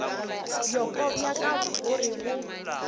bjoko bja ka gore bo